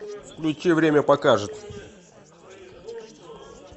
включи время покажет